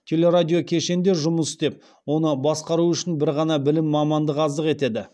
телерадиокешенде жұмыс істеп оны басқару үшін бір ғана білім мамандық аздық етеді